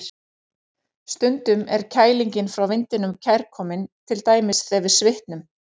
Stundum er kælingin frá vindinum kærkomin, til dæmis þegar við svitnum.